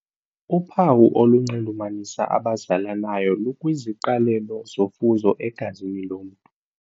Uphawu olunxulumanisa abazalanayo lukwiziqalelo zofuzo egazini lomntu.